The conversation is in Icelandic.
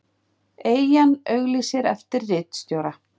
Eyjan auglýsir eftir ritstjóra